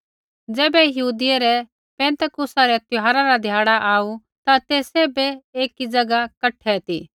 ज़ैबै यहूदियै रै पिन्तेकुसा रै त्यौहारा रा ध्याड़ा आऊ ता ते सैभ एकी ज़ैगा कठै ती